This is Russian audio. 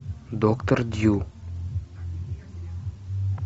доктор дью